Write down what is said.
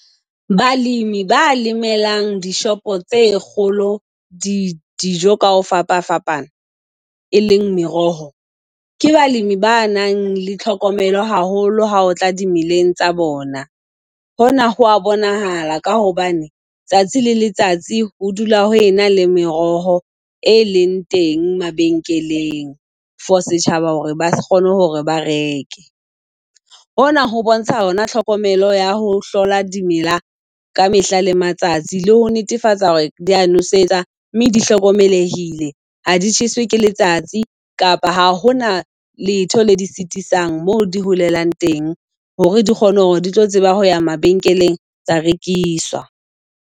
Balimi baa lemelang dishopo tse kgolo di dijo ka ho fapafapana, e leng meroho, ke balimi ba nang le tlhokomelo haholo ha o tla dimeleng tsa bona. Hona hoa bonahala ka hobane tsatsi le letsatsi ho dula ho ena le meroho e leng teng mabenkeleng, for setjhaba hore ba kgone hore ba reke. Hona ho bontsha hona tlhokomelo ya ho hlola dimela ka mehla le matsatsi, le ho netefatsa hore di a nosetsa mme di hlokomelehile ha di tjheswe ke letsatsi kapa ha hona letho le di sitisang mo di holelang teng, hore di kgone hore di tlo tseba ho ya mabenkeleng tsa rekiswa.